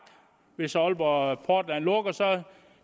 hvis aalborg portland lukker